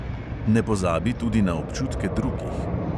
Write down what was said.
Ne pozabi tudi na občutke drugih.